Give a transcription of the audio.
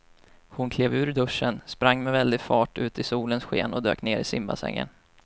Hon klev ur duschen, sprang med väldig fart ut i solens sken och dök ner i simbassängen.